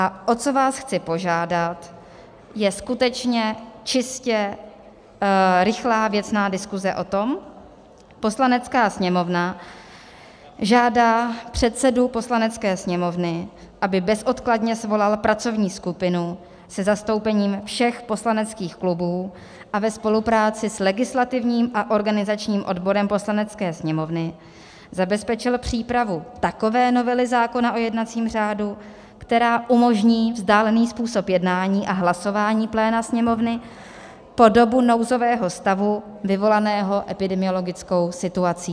A o co vás chci požádat, je skutečně čistě rychlá, věcná diskuse o tom: "Poslanecká sněmovna žádá předsedu Poslanecké sněmovny, aby bezodkladně svolal pracovní skupinu se zastoupením všech poslaneckých klubů a ve spolupráci s legislativním a organizačním odborem Poslanecké sněmovny zabezpečil přípravu takové novely zákona o jednacím řádu, která umožní vzdálený způsob jednání a hlasování pléna Sněmovny po dobu nouzového stavu vyvolaného epidemiologickou situací."